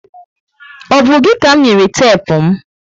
O bu gị ka m nyere tepu m?